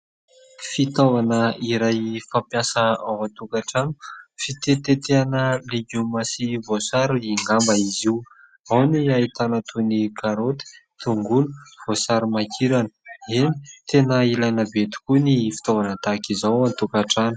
Fitaovana iray fampiasa ao an-tokantrano, fitetitetehana legioma sy voasary angamba izy io, ao ny ahitana toy ny karôty, tongolo, voasarimakirana. Eny tena ilaina be tokoa ny fitaovana tahaka izao any an-tokantrano.